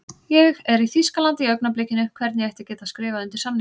Ég er í Þýskalandi í augnablikinu, hvernig ætti ég að geta skrifað undir samning?